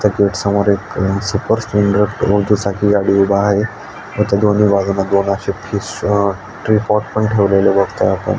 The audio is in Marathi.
त्या गेट समोर एक अ चाकी उभा आहे व त्या दोन अशे ठेवलेले बगताय आपण --